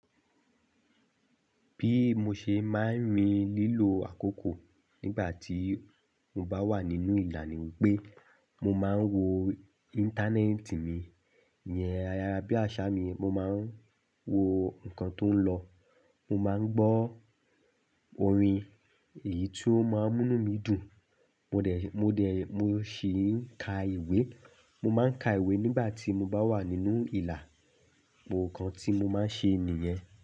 Bí mo ṣe máa ń rí lílo àkókò nígbà tí mo bá wà nínú ìlànà wípé mo máa ń wo íńtánẹ́ẹ̀tì mi, ìyẹn ayárabíàṣá mi, mo máa ń wo ǹkan tó ń lọ, mo máa ń gbọ́ orin èyí tó máa ń múni mi dùn, mo dẹ̀, mo dẹ̀, mo sì ń ka ìwé. Mo máa ń ka ìwé nígbà tí mo bá wà nínú ìlà, gbogbo ǹkan tí mo máa ń ṣe nìyẹn.